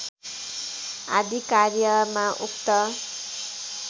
आदि कार्यमा उक्त